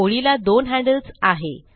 ओळीला दोन हैन्ड्ल्स आहे